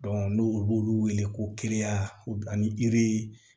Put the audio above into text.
n'olu wele ko ani yiri